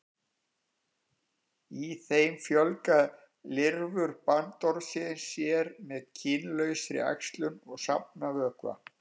Í þeim fjölga lirfur bandormsins sér með kynlausri æxlun og safna vökva.